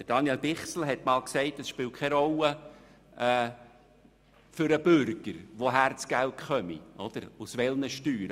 Daniel Bichsel hat einmal gesagt, es spiele für den Bürger keine Rolle, woher das Geld komme, also aus welchen Steuern.